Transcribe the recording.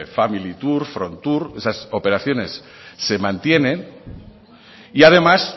familitur frontur esas operaciones se mantienen y además